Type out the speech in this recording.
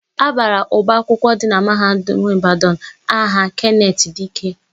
A bara ọba akwụkwọ dị na Mahadum Ịbadanụ aha Kenetị Dike.